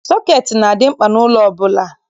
Sọketi na-adị mkpa n'ụlọ ọbụla.